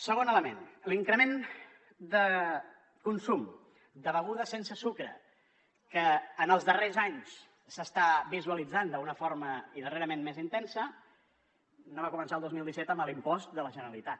segon element l’increment de consum de begudes sense sucre que en els darrers anys s’està visualitzant d’una forma i darrerament més intensa no va començar el dos mil disset amb l’impost de la generalitat